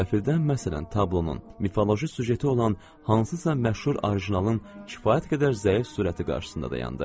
Qəfildən məsələn tablonun mifoloji süjeti olan hansısa məşhur orijinalın kifayət qədər zəif sürəti qarşısında dayandı.